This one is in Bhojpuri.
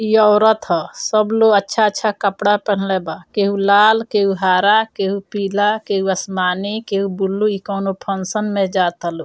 इ औरत हअ सब लोग अच्छा-अच्छा कपड़ा पहन्ले बा केहू लाल केहू हरा केहू पीला केहू आसमानी केहू बुल्लु इ कौनो फंक्शन में जाता लोग।